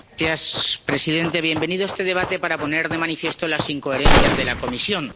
Señor presidente, bienvenido a este debate para poner de manifiesto las incoherencias de la Comisión.